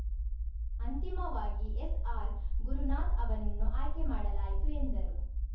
ಅಂತಿಮವಾಗಿ ಎಸ್‌ಆರ್‌ಗುರುನಾಥ್‌ ಅವರನ್ನು ಆಯ್ಕೆ ಮಾಡಲಾಯಿತು ಎಂದರು